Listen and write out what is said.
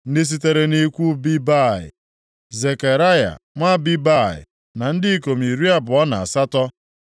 Ndị sitere nʼikwu Bebai; Zekaraya nwa Bebai na ndị ikom iri abụọ na asatọ (28),